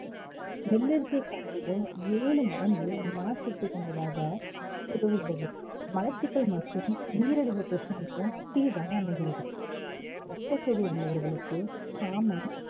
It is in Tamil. வெள்ளரிசியை காட்டிலும் ஏழு மடங்கு நார்ச்சத்து கொண்டதாக மலச்சிக்கல் மற்றும் நீரிழிவு பிரச்சனைக்கும் தீர்வாக அமைகிறது. ரத்த சோகை உள்ளவர்களுக்கு சாமை